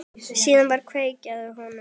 Síðan var kveikt í þeim.